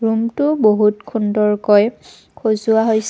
ৰুমটো বহুত খুণ্ডৰকৈ খজোৱা হৈছে।